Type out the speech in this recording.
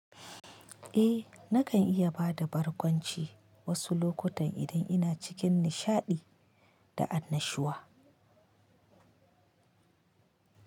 Eh, nakan iya ba da barkwanci wasu lokutan idan ina cikin nishaɗi da annashuwa.